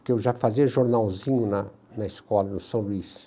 Porque eu já fazia jornalzinho na na escola, no São Luís.